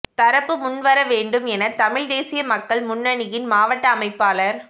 தரப்பு முன்வரவேண்டும் என தமிழ்த் தேசிய மக்கள் முன்னணியின் மாவட்ட அமைப்பாளர்